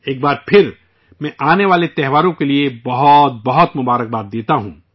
ایک بار پھر میں آنے والے تہواروں کے لیے ڈھیروں مبارکباد دیتا ہوں